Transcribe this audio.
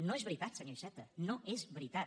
no és veritat senyor iceta no és veritat